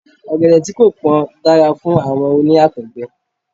Ọ̀gẹ̀dẹ̀ tí kò pón dára fún àwọn oní Àtọ̀gbẹ.